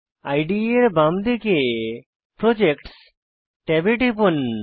ইদে এর বাম দিকে প্রজেক্টস ট্যাবে টিপুন